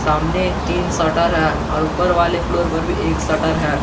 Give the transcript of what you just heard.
सामने तीन शटर है और ऊपर वाले फ्लोर पर भी एक शटर है।